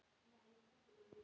Sá ég þetta ekki?